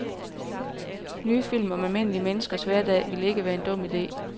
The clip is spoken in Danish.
Nye film om almindelige menneskers hverdag ville ikke være en dum ide.